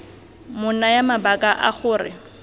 mo naya mabaka a gore